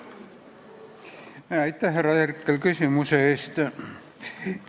Aitäh, härra Herkel, küsimuse eest!